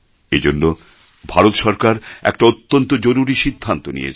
এজন্য ভারত সরকার একটা অত্যন্ত জরুরি সিদ্ধান্ত নিয়েছে